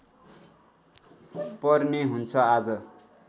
पर्ने हुन्छ आज